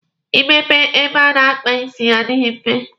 Ị mepe ebe a na-akpa isi adịghị mfe.